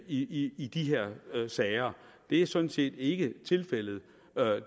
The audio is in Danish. i i de her sager det er sådan set ikke tilfældet